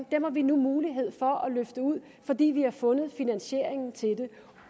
dem har vi nu muligheden for at få løftet ud fordi vi har fundet finansieringen til det